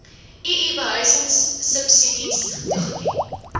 ii behuisingsubsidies toegeken